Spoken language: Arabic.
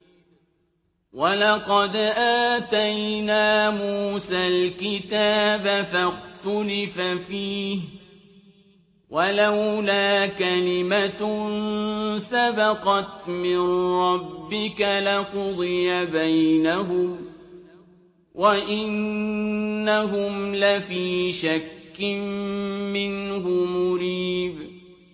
وَلَقَدْ آتَيْنَا مُوسَى الْكِتَابَ فَاخْتُلِفَ فِيهِ ۗ وَلَوْلَا كَلِمَةٌ سَبَقَتْ مِن رَّبِّكَ لَقُضِيَ بَيْنَهُمْ ۚ وَإِنَّهُمْ لَفِي شَكٍّ مِّنْهُ مُرِيبٍ